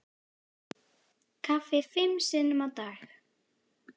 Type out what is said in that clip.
Kaffi fimm sinnum á dag.